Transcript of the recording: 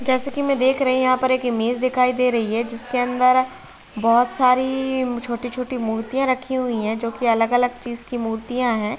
जैसा की मैं देख रही हुँ यहाँ पर एक इमेज दिखाई दे रही है जिसके अंदर बहुत सारी छोटी -छोटी मूर्तियाँ रखी हुई है जो की अलग-अलग चीज की मूर्तियाँ हैं।